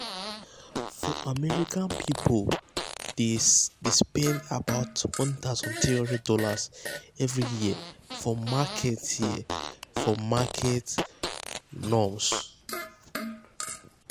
for america um people dey spend about [um]one thousand three hundred dollarsevery um year for market year for market runs.